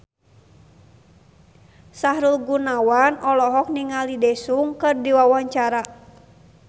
Sahrul Gunawan olohok ningali Daesung keur diwawancara